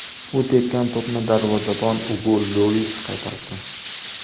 U tepgan to‘pni darvozabon Ugo Lyoris qaytardi.